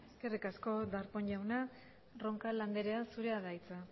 eskerrik asko darpón jauna roncal anderea zurea da hitza